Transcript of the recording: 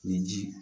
Ni ji